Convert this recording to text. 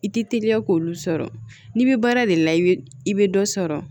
I ti teliya k'olu sɔrɔ n'i bɛ baara de la i bɛ i bɛ dɔ sɔrɔ